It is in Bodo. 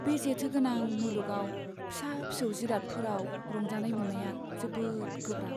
बे जेथोगोनां मुलुगाव फिसा फिसौ जिरादफोराव रंजानाय मोननाया जोबोद गोब्राब!